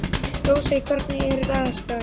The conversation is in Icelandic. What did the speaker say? Rósey, hvernig er dagskráin?